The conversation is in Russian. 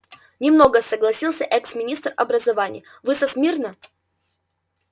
немного согласился экс-министр образования вы со смирно